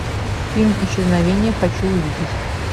фильм исчезновение хочу увидеть